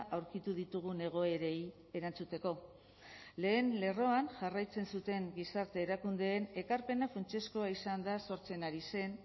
aurkitu ditugun egoerei erantzuteko lehen lerroan jarraitzen zuten gizarte erakundeen ekarpena funtsezkoa izan da sortzen ari zen